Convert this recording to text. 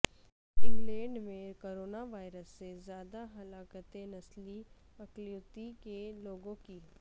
England میں corona virus سے زیادہ ہلاکتیں نسلی اقلیتوں کے لوگوں کی